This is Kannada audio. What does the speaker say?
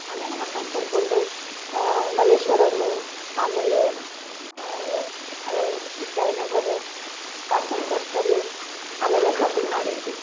ಅಲ್ಲೇ ನಮ್ಮ್ ಅಕ್ಕನ ಕರ್ಕೊಂಡ್ ಆ ಮಲ್ಲೇಶ್ವರಂ ಆಮೇಲೆ ಆದೆ ಜಯನಗರ್, ಭಾಷ್ಯಂ ಸರ್ಕಲ್ ಅಲ್ಲೆಲ್ಲಾ shopping ಮಾಡಿದ್ವಿ.